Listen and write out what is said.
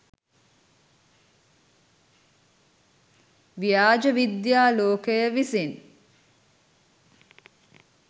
ව්‍යාජ විද්‍යා ලෝකය විසින්